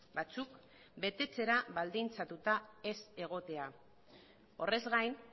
batzuk betetzera baldintzatuta ez egotea horrez gain